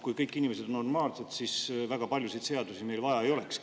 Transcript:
Kui kõik inimesed oleks normaalsed, siis väga paljusid seadusi meil vaja ei olekski.